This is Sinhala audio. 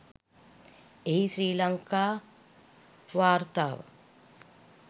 එහි ශ්‍රී ලංකා වාර්තාව